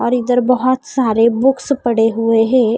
और इधर बहुत सारे बुक्स पड़े हुए है।